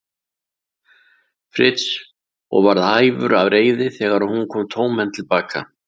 Fritz og varð æfur af reiði þegar hún kom tómhent til baka.